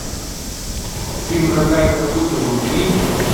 фильм рога и копыта вруби